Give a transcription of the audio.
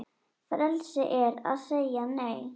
Frelsi er að segja Nei!